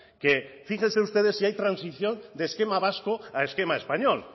que fíjense ustedes si hay transición de esquema vasco a esquema español